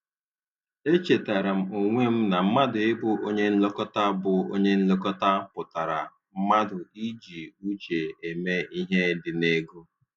E chetara m onwe m na mmadụ ị bụ onye nlekọta bụ onye nlekọta pụtara mmadụ iji uche eme ihe dị n'ego.